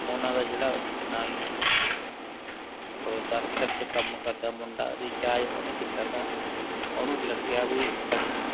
ਓਹਨਾ ਦਾ ਜਿਹੜਾ ਇਕ ਨਾਲ ਕੰਮ ਕਰਦਾ ਮੁੰਡਾ ਸੀ ਰਿਚਾਰਜ ਓਹਨੇ ਕੀਤਾ ਸਾ ਓਹਨੂੰ ਲੱਗਿਆ ਬੀ ਪੱਚੀ